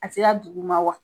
A sera duguma wa ?